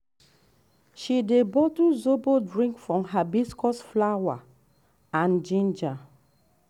she dey bottle zobo drink from hibiscus flower and ginger.